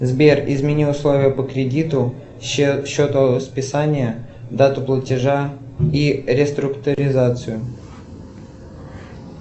сбер измени условия по кредиту счет списания дату платежа и реструктуризацию